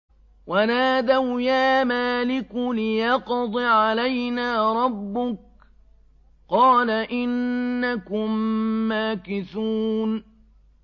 وَنَادَوْا يَا مَالِكُ لِيَقْضِ عَلَيْنَا رَبُّكَ ۖ قَالَ إِنَّكُم مَّاكِثُونَ